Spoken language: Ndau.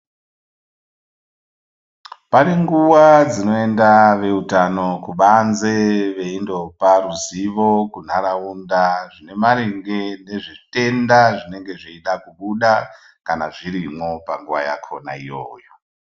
Pane nguwa dzinoenda veutano kubanze veindopa ruzivo kuntharaunda ine maringe ngezvitenda zvinenge zveida kubuda kana zvirimwo panguwa yakona iyoyo.